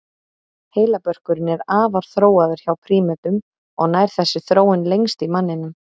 Heilabörkurinn er afar þróaður hjá prímötum og nær þessi þróun lengst í manninum.